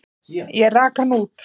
Ég rak hann út.